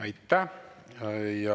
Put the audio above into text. Aitäh!